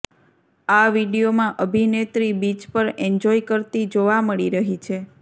આ વીડિયોમાં અભિનેત્રી બીચ પર એન્જોય કરતી જોવા મળી રહી છે